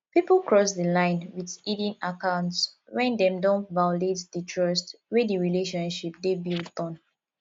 pipo cross di line with hidden account when dem don violate di trust wey di relationship dey built on